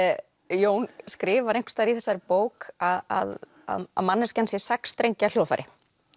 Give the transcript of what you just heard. Jón skrifar einhvers staðar í þessari bók að manneskjan sé sex strengja hljóðfæri